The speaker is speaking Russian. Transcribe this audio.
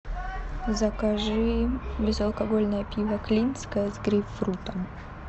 закажи безалкогольное пиво клинское с грейпфрутом